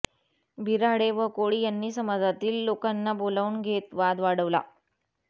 बिऱ्हाडे व कोळी यांनी समाजातील लोकांना बोलावून घेत वाद वाढवला